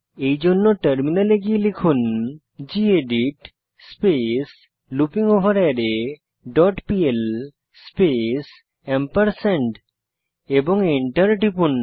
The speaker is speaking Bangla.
এইজন্য টার্মিনালে গিয়ে লিখুন গেদিত স্পেস লুপিংগভারারে ডট পিএল স্পেস এবং এন্টার টিপুন